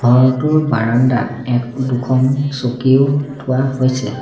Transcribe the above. ঘৰটোৰ বাৰাণ্ডাত এক দুখন চকীও থোৱা হৈছে।